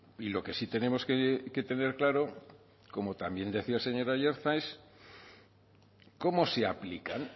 y lo que sí tenemos que tener claro como también decía el señor aiartza es cómo se aplican